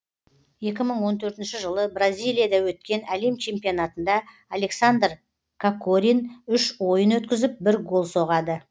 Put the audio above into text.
екі мың он төртінші жылы бразилияда өткен әлем чемпионатында александр кокорин үш ойын өткізіп бір гол соғады